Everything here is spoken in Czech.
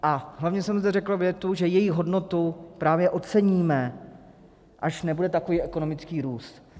A hlavně jsem zde řekl větu, že jejich hodnotu právě oceníme, až nebude takový ekonomický růst.